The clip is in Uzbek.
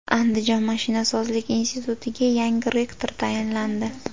Andijon mashinasozlik institutiga yangi rektor tayinlandi.